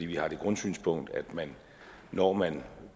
vi har det grundsynspunkt at man når man